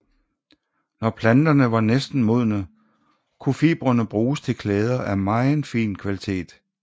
Når planterne var næsten modne kunne fibrene bruges til klæder af meget fin kvalitet